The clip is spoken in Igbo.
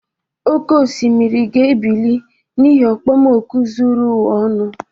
Oke osimiri ga-ebili n'ihi okpomoku zuru ụwa ọnụ.